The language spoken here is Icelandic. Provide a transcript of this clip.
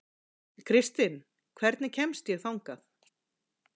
Kristinn, hvernig kemst ég þangað?